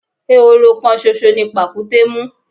Ehoro kan ṣoṣo ni pàkúté mú.